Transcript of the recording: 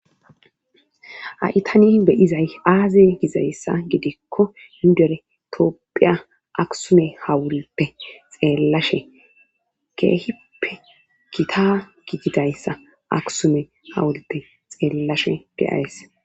Ha7i tani be izay aaze gizayssa gidikko nuudere toopphiya aksume hawulippe xeellashe keehippe kita gididayssa aksume hawulippe xeellashe geyays